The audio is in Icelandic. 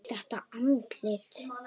Þetta andlit.